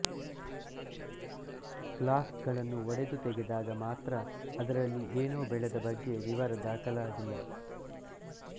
flask ಗಳನ್ನು ಒಡೆದು ತೆಗೆದಾಗ ಮಾತ್ರ ಅದರಲ್ಲಿ ಏನೂ ಬೆಳೆದ ಬಗ್ಗೆ ವಿವರ ದಾಖಲಾಗಿಲ್ಲ